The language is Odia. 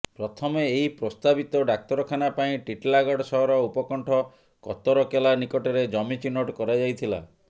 ପ୍ରଥମେ ଏହି ପ୍ରସ୍ତାବିତ ଡାକ୍ତରଖାନା ପାଇଁ ଟିଟିଲାଗଡ଼ ସହର ଉପକଣ୍ଠ କତରକେଲା ନିକଟରେ ଜମି ଚିହ୍ନଟ କରାଯାଇଥିଲା